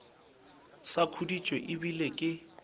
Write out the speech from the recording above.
sa khuditše e bile ke